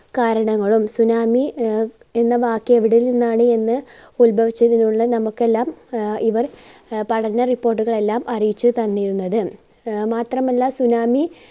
കാരണങ്ങളും tsunami ആഹ് എന്ന വാക്ക് എവിടെ നിന്നാണ് എന്ന് ഉത്ഭവിച്ചതെന്നുള്ള നമ്മൾക്കെല്ലാം ആഹ് ഇവർ ആഹ് പഠന report കളെല്ലാം അറിയിച്ചു തന്നിരുന്നത്. ആഹ് മാത്രമല്ല tsunami